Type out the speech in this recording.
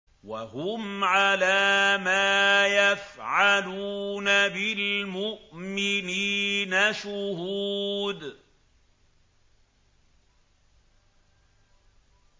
وَهُمْ عَلَىٰ مَا يَفْعَلُونَ بِالْمُؤْمِنِينَ شُهُودٌ